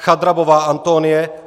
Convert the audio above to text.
Chadrabová Antonie